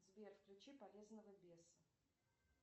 сбер включи полезного беса